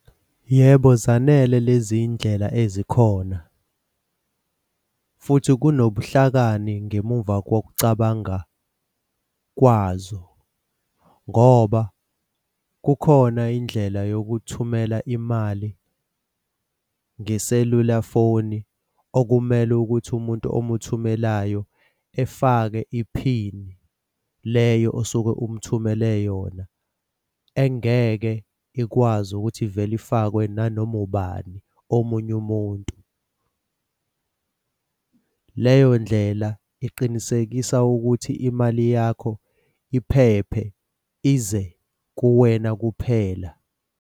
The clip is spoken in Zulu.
Yebo zanele le zindlela ezikhona, futhi kunobuhlakani ngemumva kokucabanga kwazo ngoba kukhona indlela yokuthumela imali ngeselula foni okumele ukuthi umuntu omuthungelayo efake iphini leyo osuke umuthumele yona, engeke ikwazi ukuthi vele ifakwe nanoma ubani omunye umuntu. Leyo ndlela iqinisekisa ukuthi imali yakho iphephe ize kuwena kuphela.